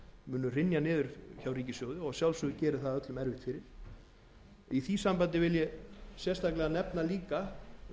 munu hrynja niður hjá ríkissjóði og að sjálfsögðu gerir það öllum erfitt fyrir í því sambandi vil ég sérstaklega nefna sveitarfélögin